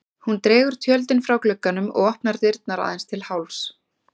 Hún dregur tjöldin frá glugganum og opnar dyrnar aðeins til hálfs.